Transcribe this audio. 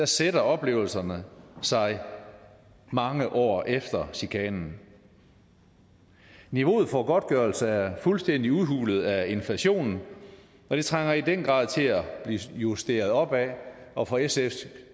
sætter oplevelserne sig mange år efter chikanen niveauet for godtgørelse er fuldstændig udhulet af inflationen og det trænger i den grad til at blive justeret opad og for sfs